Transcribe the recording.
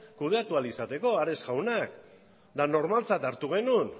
kudeatu ahal izateko ares jaunak eta normaltzat hartu genuen